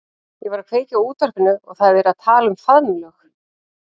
Ég var að kveikja á útvarpinu og það er verið að tala um faðmlög.